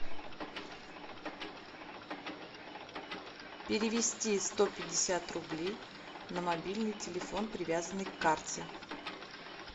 перевести сто пятьдесят рублей на мобильный телефон привязанный к карте